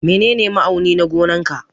Menene ma'auni na gonan ka?